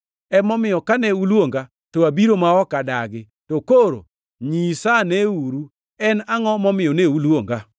Emomiyo, kane uluonga to abiro ma ok adagi. To koro nyisaneuru, en angʼo momiyo ne uluonga?”